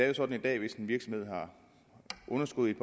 jo sådan at hvis en virksomhed har underskud i